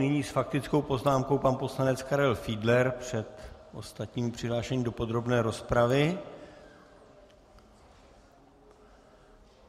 Nyní s faktickou poznámkou pan poslanec Karel Fiedler před ostatními přihlášenými do podrobné rozpravy.